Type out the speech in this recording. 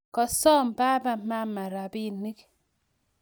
Kosoom baba mama robinik